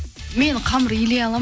мен қамыр илей аламын